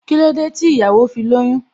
Kílódé tí ìyàwó fi lóyún?